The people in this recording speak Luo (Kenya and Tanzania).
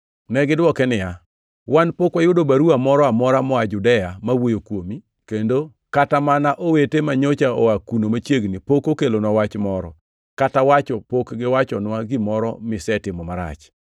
Negidwoke niya, “Wan pok wayudo baruwa moro amora moa Judea ma wuoyo kuomi, kendo kata mana owete manyocha oa kuno machiegni pok okelonwa wach moro, kata wacho pok giwachonwa gimoro misetimo marach.